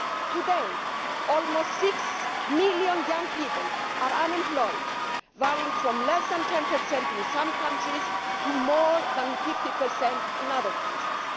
Today, almost six million young people are unemployed, varying from less than 10 in some countries to more than 50 in other countries.